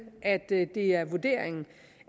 at det er vurderingen